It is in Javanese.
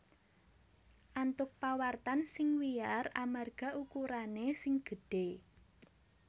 antuk pawartan sing wiyar amarga ukurané sing gedhé